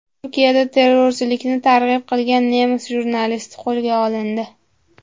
Turkiyada terrorchilikni targ‘ib qilgan nemis jurnalisti qo‘lga olindi.